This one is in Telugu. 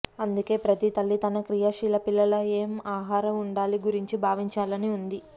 అందుకే ప్రతి తల్లి తన క్రియాశీల పిల్లల ఏం ఆహార ఉండాలి గురించి భావించాలని ఉంది